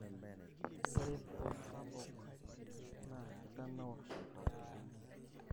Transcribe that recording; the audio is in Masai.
ore empiron sapuk na kitanaur oltau.